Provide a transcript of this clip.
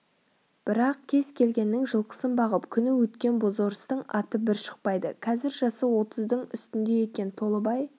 бірақ кез-келгеннің жылқысын бағып күні өткен бозорыстың аты бір шықпайды қазір жасы отыздың үстінде екен толыбай